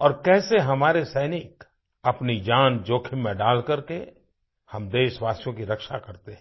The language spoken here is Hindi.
और कैसे हमारे सैनिक अपनी जान जोखिम में डालकर के हम देशवासियों की रक्षा करते हैं